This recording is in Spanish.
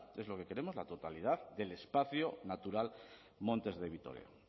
que es lo que queremos la totalidad del espacio natural montes de vitoria